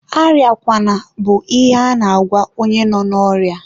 arịakwana bụ ihe a na-agwa onye nọ n'orịa.